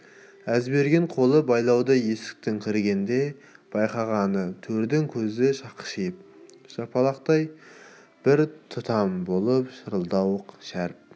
әзберген қолы байлаулы есіктен кіргенде байқағаны төрде көзі шақшиып жапалақтай бір тұтам болып шырылдауық шәріп